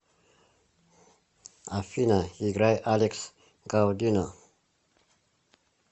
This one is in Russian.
афина играй алекс гаудино